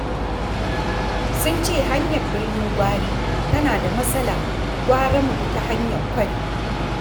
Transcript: Sun ce hanyar Birnin Gwari tana da matsala, gara mu bi ta hanyar Kwari.